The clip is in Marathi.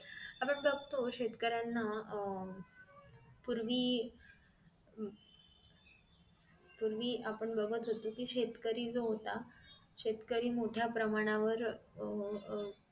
आपण बघतो शेतकऱ्यांना पूर्वी पूर्वी आपण बघत होतो कि शेतकरी जो होता शेतकरी मोठ्या प्रमाण वर अह